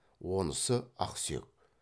онысы ақсүйек